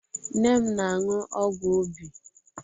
Nne m na-aṅụ ọgwụ obi.